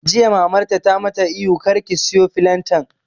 Jiya Mamarta ta mata ihu 'Kar ki soya filantan'!